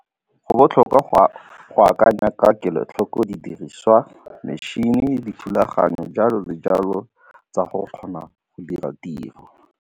Go botlhokwa go akanya ka kelotlhoko didiriswa, metšhene, dithulaganyo, jalo le jalo tsa go kgona go dira tiro.